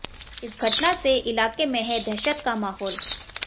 इस घटना से इलाके में है दहशत का माहोल